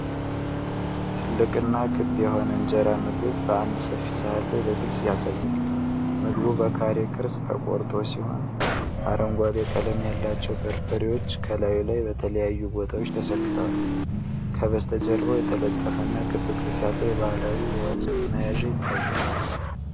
ትልቅ እና ክብ የሆነ እንጀራ ምግብ በአንድ ሰፊ ሳህን ላይ በግልጽ ያሳያል። ምግቡ በካሬ ቅርፅ ተቆርጦ ሲሆን፤ አረንጓዴ ቀለም ያላቸው በርበሬዎች ከላዩ ላይ በተለያዩ ቦታዎች ተሰክተዋል። ከበስተጀርባው የተጠለፈ እና ክብ ቅርጽ ያለው የባህላዊ የወጭት መያዣ ይታያል።